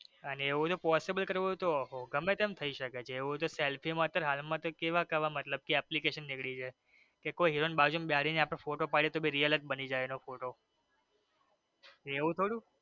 અને એવું હોઈ થોડું possible કરવું હોઈ તો ગમે તેમ થઈ શકે selfie માં કે હાલ માં તો કેવા કેવા મતલબ કે application નીકળી ગયા કે એકેય હીરો ને બાજુ માં બેસાડી ને અપડે ફોટો પાડી આપડે એટલે real જ બની જઈ